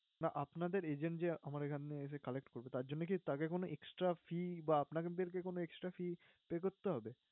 না আপনাদের agent যে আমার এখানে এসে collect করতে আসে, তার জন্য কি তাকে extra fee বা আপনাদেরকে কোনো extra fee pay করতে হবে?